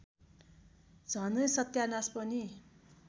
झनै सत्यानास पनि